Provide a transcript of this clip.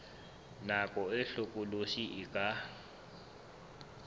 nako e hlokolosi e ka